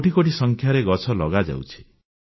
କୋଟି କୋଟି ସଂଖ୍ୟାରେ ଗଛ ଲଗାଯାଉଛି